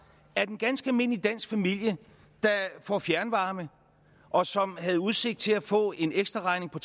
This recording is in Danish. at en ganske almindelig dansk familie der får fjernvarme og som havde udsigt til at få en ekstraregning på